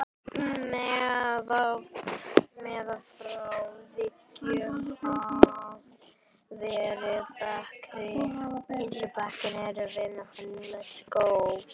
Meðfram veggjum hafa verið bekkir.